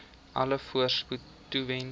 alle voorspoed toewens